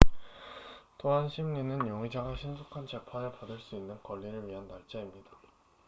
또한 심리는 용의자가 신속한 재판을 받을 수 있는 권리를 위한 날짜입니다